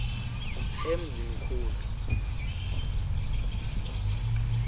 emzimkhulu